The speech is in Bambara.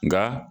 Nka